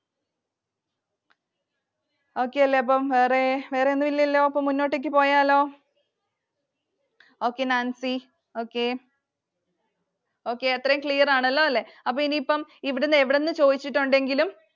Okay അല്ലെ അപ്പൊ. വേറെ വേറെ ഒന്നുമില്ലലോ. അപ്പോ മുന്നോട്ടേക്കു പോയാലോ Okay നാൻസി okay okay അത്രയും clear ആണല്ലോല്ലേ? ഇനി ഇപ്പം ഇവിടുന്ന് എവിടുന്ന് ചോദിച്ചിട്ടുണ്ടെങ്കിലും